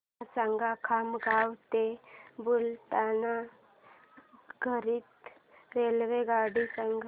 मला खामगाव ते बुलढाणा करीता रेल्वेगाडी सांगा